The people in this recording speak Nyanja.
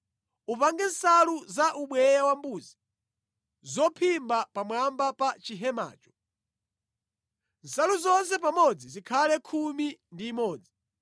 “Upange nsalu za ubweya wambuzi zophimba pamwamba pa chihemacho. Nsalu zonse pamodzi zikhale khumi ndi imodzi.